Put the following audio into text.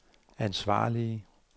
ansvarlige